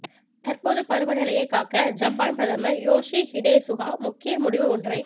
தற்போது பருவ நிலையை காக்க ஜப்பான் பிரதமர் யோஷிஹிடே சுகா முக்கிய முடிவு ஒன்றை